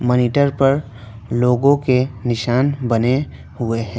Monitor पर लोगों के निशान बने हुए है।